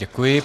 Děkuji.